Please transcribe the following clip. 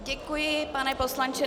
Děkuji, pane poslanče.